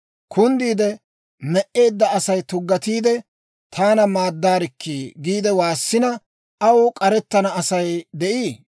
«Kunddiide me"eedda Asay tuggatiidde, ‹Taana maaddarikkii› giide waassina, aw k'arettenna Asay de'ii?